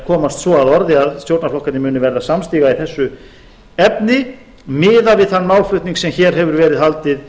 komast svo að orði að stjórnarflokkarnir munu verða samstiga í þessu efni miðað við þann málflutning sem hér hefur verið haldið